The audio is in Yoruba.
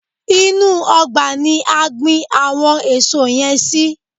Inú ọgbà ni a gbin àwọn èso yẹn sí.